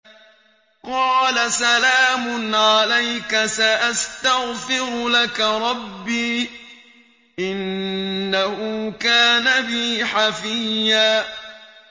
قَالَ سَلَامٌ عَلَيْكَ ۖ سَأَسْتَغْفِرُ لَكَ رَبِّي ۖ إِنَّهُ كَانَ بِي حَفِيًّا